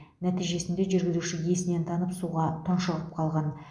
нәтижесінде жүргізуші есінен танып суға тұншығып қалған